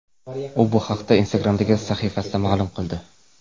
U bu haqda Instagram’dagi sahifasida ma’lum qildi .